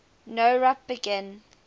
nowrap begin